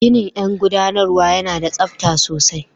Ginin yan guɗanarwa yana da tsabta sosai.